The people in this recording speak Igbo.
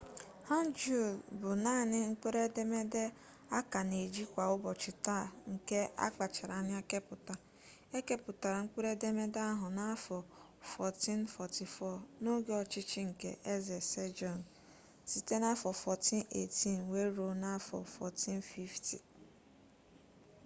hangeul bụ naanị mkpụrụ edemede a ka na-eji kwa ụbọchị taa nke akpachara anya kepụta. e kepụtara mkpụrụ edemede ahụ n'afọ 1444 n'oge ọchịchị nke eze sejong 1418 – 1450